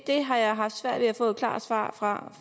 det har jeg haft svært ved at få et klart svar fra